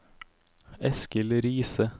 Eskil Riise